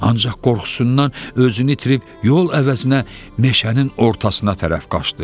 Ancaq qorxusundan özünü itirib yol əvəzinə meşənin ortasına tərəf qaçdı.